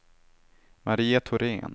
Maria Thorén